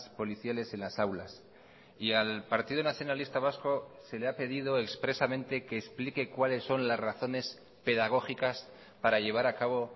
policiales en las aulas y al partido nacionalista vasco se le ha pedido expresamente que explique cuáles son las razones pedagógicas para llevar a cabo